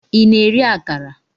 Ị na-eri akara?